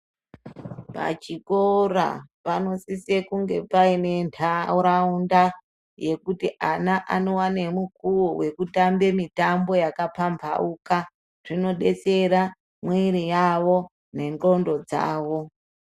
Pachikora panosise kunge paine ntaraunda yekuti ana anowane mukuwo wekutambe mitambo yakapambauka. Zvinodetsera mwiri yavo nendxondo dzawo.